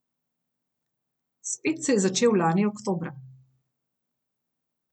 Spet se je začel lani oktobra.